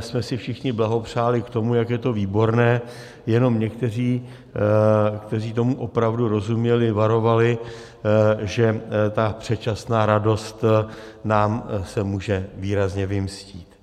jsme si všichni blahopřáli k tomu, jak je to výborné, jenom někteří, kteří tomu opravdu rozuměli, varovali, že ta předčasná radost se nám může výrazně vymstít.